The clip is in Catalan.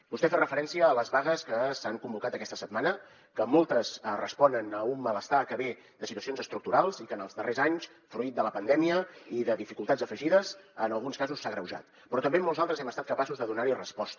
vostè ha fet referència a les vagues que s’han convocat aquesta setmana que moltes responen a un malestar que ve de situacions estructurals i que en els darrers anys fruit de la pandèmia i de dificultats afegides en alguns casos s’han agreujat però també en molts altres hem estat capaços de donarhi resposta